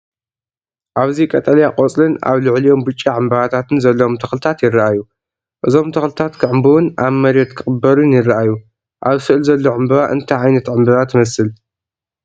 ኣብዚ ቀጠልያ ቆጽልን ኣብ ልዕሊኦም ብጫ ዕምባባታትን ዘለዎም ተኽልታት ይረኣዩ። እዞም ተኽልታት ክዕምብቡን ኣብ መሬት ክቕበሩን ይረኣዩ። ኣብ ስእሊ ዘሎ ዕምባባ እንታይ ዓይነት ዕምባባ ትመስል?